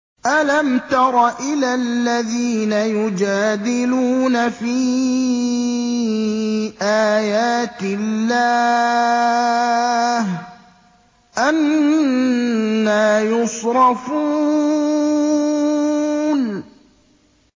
أَلَمْ تَرَ إِلَى الَّذِينَ يُجَادِلُونَ فِي آيَاتِ اللَّهِ أَنَّىٰ يُصْرَفُونَ